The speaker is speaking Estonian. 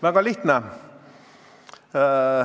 Väga lihtne.